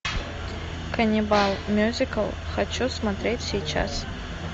каннибал мюзикл хочу смотреть сейчас